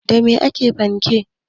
Da me ake haɗa panke?